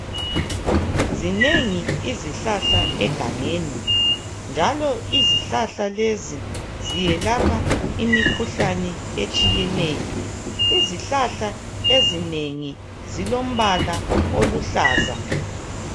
Zinengi izihlahla egangeni. Njalo izihlahla lezi ziyelapha imikhuhlane etshiyeneyo. Izihlahla ezinengi zilombala oluhlaza.